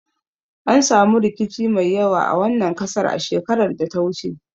An samu rikici mai yawa a wannan kasar a shekarar da ta wuce